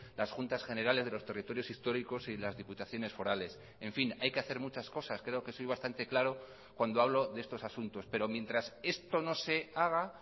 las juntas generales de los territorios históricos y las diputaciones forales en fin hay que hacer muchas cosas creo que soy bastante claro cuando hablo de estos asuntos pero mientras esto no se haga